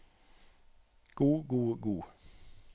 god god god